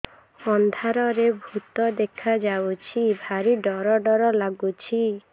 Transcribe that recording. ଅନ୍ଧାରରେ ଭୂତ ଦେଖା ଯାଉଛି ଭାରି ଡର ଡର ଲଗୁଛି